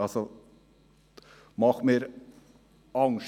Das macht mir Angst.